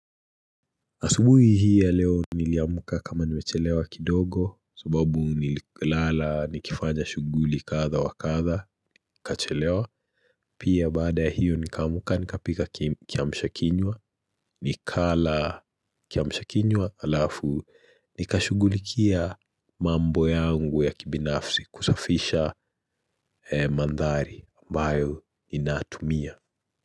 Asubuhi hii ya leo niliamka kama nimechelewa kidogo, subabu nililala nikifanya shughuli kadha wa kadha, nikachelewa. Pia baada hiyo nikaamka nikapika kiamshakinywa, nikala kiamshakinywa, halafu nikashugulikia mambo yangu ya kibinafsi kusafisha mandhari ambayo ninatumia.